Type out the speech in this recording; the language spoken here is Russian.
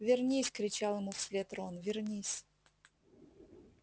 вернись кричал ему вслед рон вернись